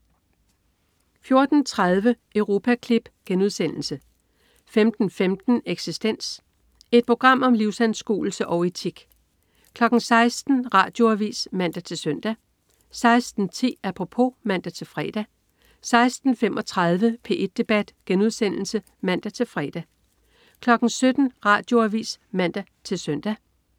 14.30 Europaklip* 15.15 Eksistens. Et program om livsanskuelse og etik 16.00 Radioavis (man-søn) 16.10 Apropos (man-fre) 16.35 P1 debat* (man-fre) 17.00 Radioavis (man-søn)